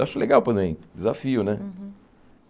Eu acho legal porém, desafio, né? Uhum